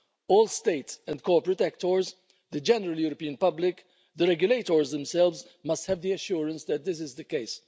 All States and corporate actors, the general European public, the regulators themselves, must have the assurance that this is the case.